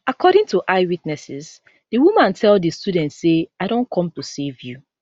according to eye witnesses di woman tell di students say i don come to save you